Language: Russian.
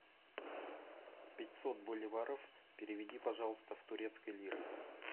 пятьсот боливаров переведи пожалуйста в турецкие лиры